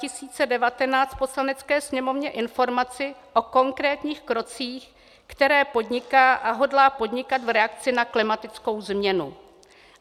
Poslanecké sněmovně informaci o konkrétních krocích, které podniká a hodlá podnikat v reakci na klimatickou změnu;